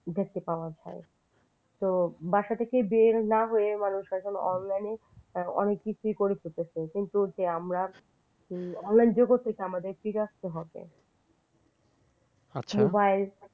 দেখতে পাওয়া যায় তো বাসা থেকে বের না হয়ে মানুষ এখন online অনেক কিছুই করে ফেলতাছে কিন্তু যে আমরা online ব্যবস্থা থেকে আমাদের ফিরে আসতে হবে mobile